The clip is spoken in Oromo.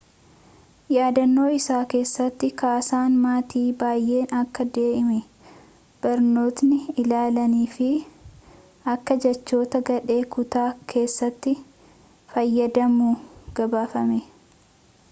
yaadanno isaa keessatti ksan maatiin baayeen akka damee barnootatti ilaalan fi akka jechoota gadhee kutaa keessatti fayyadamu gabaafamee